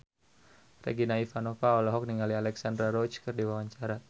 Regina Ivanova olohok ningali Alexandra Roach keur diwawancara